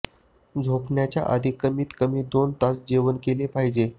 झोपण्याच्या आधी कमीत कमी दोन तास जेवण केलं पाहिजे